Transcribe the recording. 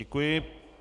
Děkuji.